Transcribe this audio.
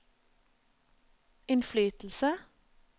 innflytelse